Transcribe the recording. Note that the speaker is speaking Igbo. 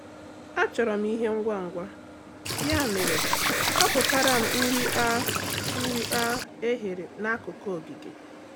Achọrọ m ihe ngwa ngwa, ya mere họpụtara m nri a nri a e ghere n’akụkụ ogige.